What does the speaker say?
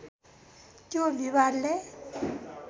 त्यो विवादले